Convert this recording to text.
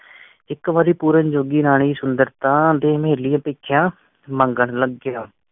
ਇਕ ਵਾਰੀ ਪੂਰਨ ਜੋਗੀ ਰਾਣੀ ਸੁੰਦਰਾਤਾ ਦੇ ਮਹਿਲੀਂ ਭਿੱਖਿਆ ਮੰਗਣ ਲੱਗਿਆ।